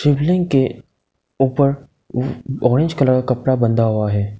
शिवलिंग के ऊपर orange colour कपड़ा बंधा हुआ है।